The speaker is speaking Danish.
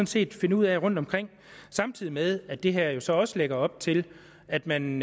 set finde ud af rundtomkring samtidig med at det her jo så også lægger op til at man